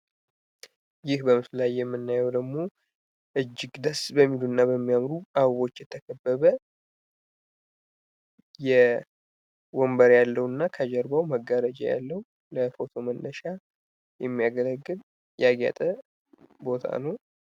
ይህ በምስሉ ላይ የምናየው ደግሞ እጂግ በሚያምሩ እና ደስ በሚሉ አበቦች የተከበበ ወንበር ያለው እና ከጀርባው መጋረጃ ያለው ለፎቶ መነሻ የሚያገለግል ያጌጠ ቦታ ነው።